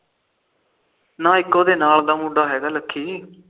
ਨਾ ਇੱਕ ਉਹਦੇ ਨਾਲ ਦਾ ਮੁੰਡਾ ਹੈਗਾ ਲੱਕੀ